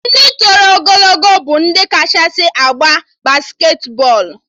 Ndị toro ogologo bụ ndị kachasị agba basketi bọọlụ